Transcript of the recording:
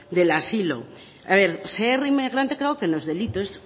del asilo a ver ser inmigrante creo que no es delito es